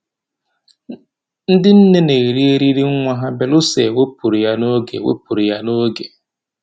Ndị nne na-eri eriri nwa ha belụsọ e wepụrụ ya n'oge wepụrụ ya n'oge